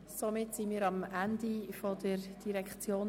Somit sind wir am Ende der Traktanden der BVE angelangt.